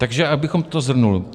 Takže abychom to shrnuli.